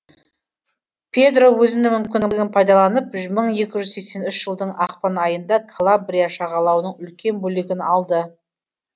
педро өзінің мүмкіндігін пайдаланып мың екі жүз сексен үшінші жылдың ақпан айында калабрия жағалауының үлкен бөлігін алды